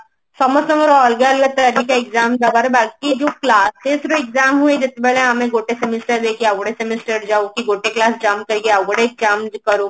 ସମସ୍ତଙ୍କର ଅଲଗା ଅଲଗା ତରିକା exam ଦବାର ବାକି ଏ ଯୋଉ exam ହୁଏ ମାନେ ଆମେ ଗୋଟେ semester ର ଦେଇକି ଆଉ ଗୋଟେ semester ଯାଉ କି ଗୋଟେ class jump କରି ଆଉ ଗୋଟେ exam କରୁ